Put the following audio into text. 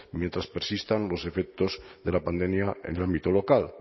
mientras persistan los efectos de la pandemia en el ámbito local